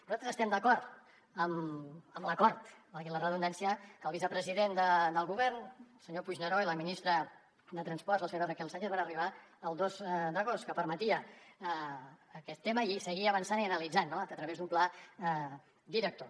nosaltres estem d’acord amb l’acord valgui la redundància a què el vicepresident del govern el senyor puigneró i la ministra de transports la senyora raquel sánchez van arribar el dos d’agost que permetia aquest tema i seguir avançant i analitzant no a través d’un pla director